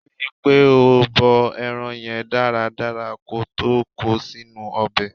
Ri pé o bọ ẹran yẹn dáradára ko tó ko sínú ọbẹ̀.